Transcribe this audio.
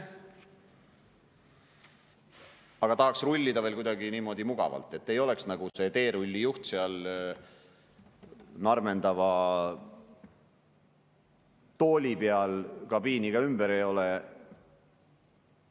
Aga tahaks rullida veel kuidagi niimoodi mugavalt, et ei oleks nagu see teerullijuht seal narmendava tooli peal, kabiini ka ümber ei ole.